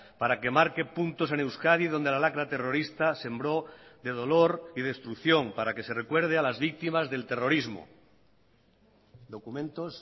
para que marque puntos en euskadi donde la lacra terrorista sembró de dolor y destrucción para que se recuerde a las víctimas del terrorismo documentos